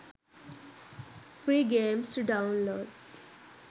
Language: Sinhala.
free games to download